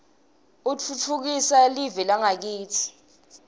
utfutfukisa liue lakitsi